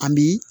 An bi